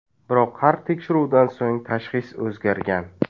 Biroq har tekshiruvdan so‘ng tashxis o‘zgargan.